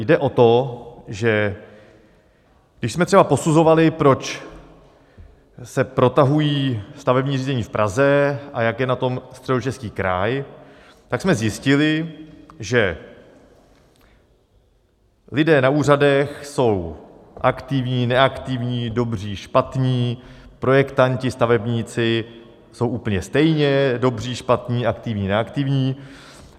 Jde o to, že když jsme třeba posuzovali, proč se protahují stavební řízení v Praze a jak je na tom Středočeský kraj, tak jsme zjistili, že lidé na úřadech jsou aktivní, neaktivní, dobří, špatní; projektanti, stavebníci jsou úplně stejně dobří, špatní, aktivní, neaktivní.